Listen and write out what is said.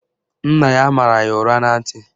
Nna ya mara ya ụra na ntị